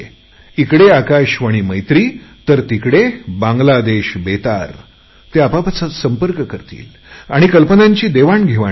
इकडे आकाशवाणी मैत्री तर तिकडे बांगलादेश बेतार ते आपापसात संपर्क करतील आणि कल्पनांची देवाणघेवाण करतील